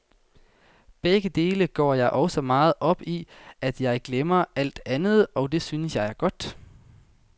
Begge dele går jeg så meget op i, at jeg glemmer alt andet, og det synes jeg er godt.